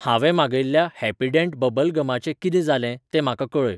हांवें मागयिल्ल्या Happydent bubble गमाचें कितें जालें तें म्हाका कळय.